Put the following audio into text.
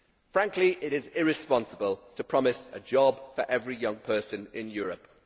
Frankly it is irresponsible to promise a job for every young person in Europe.